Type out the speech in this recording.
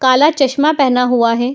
काला चश्मा पहना हुआ है।